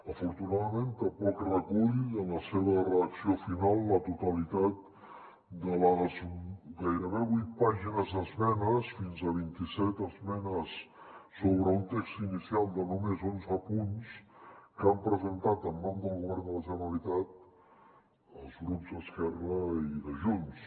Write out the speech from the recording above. afortunadament tampoc re·cull en la seva redacció final la totalitat de les gairebé vuit pàgines d’esmenes fins a vint·i·set esmenes sobre un text inicial de només onze punts que han presentat en nom del govern de la generalitat els grups d’esquerra i de junts